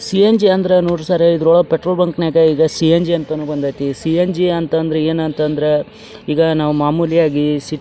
CMG ಅಂದ್ರ ನೋಡ್ರಿ sir ಇದ್ರೊಳಗ್ ಪೆಟ್ರೋಲ್ ಬಂಕ್ ನಗ್ ಈಗ ಸಿ.ಎಮ್.ಜಿ ಅನ್ನೋ ಬಂದೈತಿ. ಸಿ.ಎಮ್.ಜಿ ಅಂತ್ ಅಂದ್ರೆ ಏನ್ ಅಂತ ಅಂದ್ರೆ ಈಗ ನಾವು ಮಾಮೂಲಿಯಾಗಿ--